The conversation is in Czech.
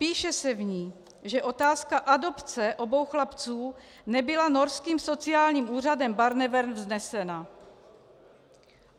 Píše se v ní, že otázka adopce obou chlapců nebyla norským sociálním úřadem Barnevern vznesena.